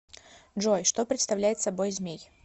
джой что представляет собой змей